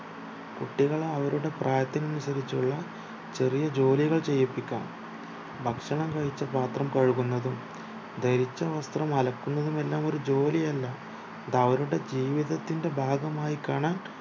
കുട്ടികളെ അവരുടെ പ്രായത്തിനനുസരിച്ചുള്ള ചെറിയ ജോലികൾ ചെയ്പ്പിക്കാം ഭക്ഷണം കഴിച്ച പാത്രം കഴുകുന്നതും ധരിച്ച വസ്ത്രം അലക്കുന്നതുമെല്ലാം ഒരു ജോലിയല്ല അതവരുടെ ജീവിതത്തിന്റെ ഭാഗമായി കാണാൻ